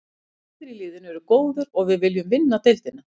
Allir í liðinu eru góðir og við viljum vinna deildina.